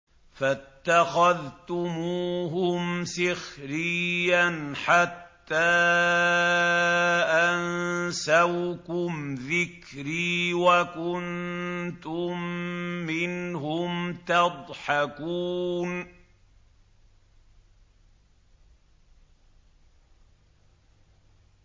فَاتَّخَذْتُمُوهُمْ سِخْرِيًّا حَتَّىٰ أَنسَوْكُمْ ذِكْرِي وَكُنتُم مِّنْهُمْ تَضْحَكُونَ